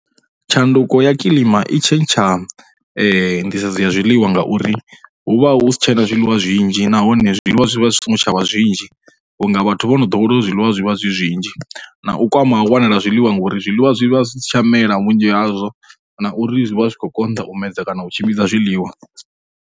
Tshanduko ya kilima i tshentsha nḓisedzo ya zwiḽiwa ngauri hu vha hu si tshena zwiḽiwa zwinzhi nahone zwiḽiwa zwi vha zwi songo tsha vha zwinzhi vhunga vhathu vho no ḓowela uri zwiḽiwa zwi vha zwi zwinzhi. Na u konḓa ha u wanala ha zwiḽiwa ngori zwiḽiwa zwi vha zwi si tsha mela vhunzhi hazwo na uri zwi vha zwi khou konḓa u medza kana tshimbidza u zwiḽiwa.